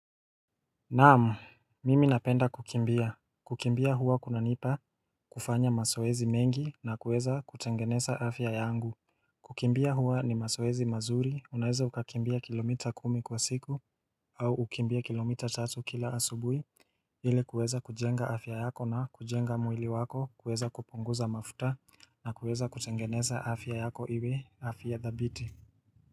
Naamu, mimi napenda kukimbia. Kukimbia huwa kunanipa kufanya mazoezi mengi na kuweza kutengeneza afya yangu. Kukimbia huwa ni masoezi mazuri, unaeza ukakimbia kilomita kumi kwa siku au ukimbie kilomita tatu kila asubui ili kuweza kujenga afya yako na kujenga mwili wako kuweza kuponguza mafuta na kuweza kutengeneza afya yako iwe afya dhabiti.